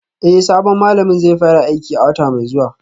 Eh sabon malamin zai fara aiki a wata mai zuwa